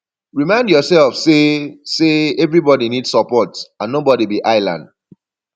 remind yourself sey sey everybody need support and nobody be island